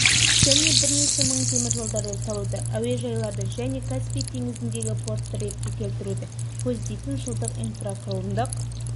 және бірнеше мың теміржолдарды салуды әуежайларды және каспий теңізіндегі портты ретке келтіруді көздейтін жылдық инфрақұрылымдық